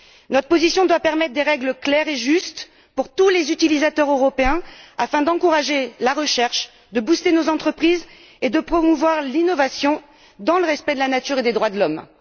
Notre position doit permettre de fixer des règles claires et justes pour tous les utilisateurs européens afin d'encourager la recherche, de stimuler nos entreprises et de promouvoir l'innovation, dans le respect de la nature et des droits de l'homme.